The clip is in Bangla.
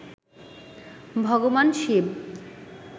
ভগবান শিব